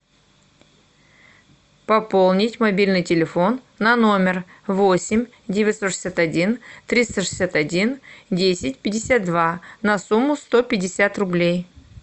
пополнить мобильный телефон на номер восемь девятьсот шестьдесят один триста шестьдесят один десять пятьдесят два на сумму сто пятьдесят рублей